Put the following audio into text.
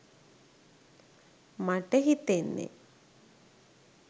මට හිතෙන්නෙ.